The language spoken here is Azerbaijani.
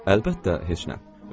Əlbəttə, heç nə.